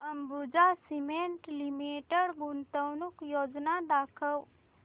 Ambuja cement limited गुंतवणूक योजना दाखव